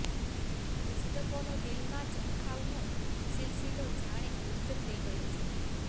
પુસ્તકોનો દિલમાં ઝાંખવાનો સિલસિલો જાણે લુપ્ત થઈ ગયો છે